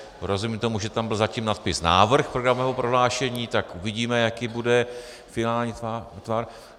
Rozumím tomu, že tam byl zatím nadpis Návrh programového prohlášení, tak uvidíme, jaký bude finální tvar.